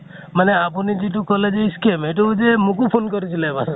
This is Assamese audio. মানে আপোনি যিটো কʼলে যে scam সেইটো যে মোকো phone কৰিছিলে এবাৰ